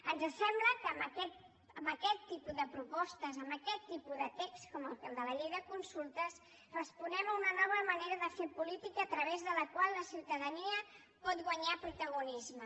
ens sembla que amb aquest tipus de propostes amb aquest tipus de text com el de la llei de consultes responem a una nova manera de fer política a través de la qual la ciutadania pot guanyar protagonisme